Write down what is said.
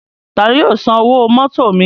Tani yóò san owó mótò mi?